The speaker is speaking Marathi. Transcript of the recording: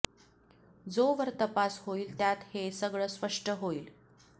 जो वर तपास होईल त्यात हे सगळं स्पष्ट होईल